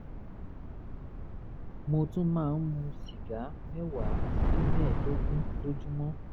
mo tún máa ń mu sìgá mẹ́wàá sí mẹ́ẹ̀ẹ́dógún lójúmọ́